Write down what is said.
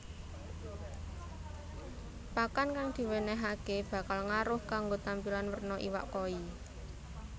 Pakan kang diwènèhaké bakal ngaruh kanggo tampilan werna iwak koi